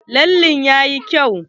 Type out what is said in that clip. Lalle ɗin yayi kyau.